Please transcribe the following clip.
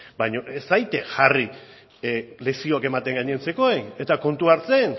baino ez zaitez jarri lezioak ematen gainontzekoei eta kontuan hartzen